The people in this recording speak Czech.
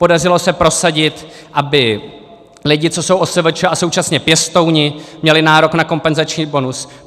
Podařilo se prosadit, aby lidi, co jsou OSVČ a současně pěstouni, měli nárok na kompenzační bonus.